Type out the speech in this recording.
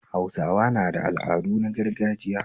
Hausawa na da al'adu na gargajiya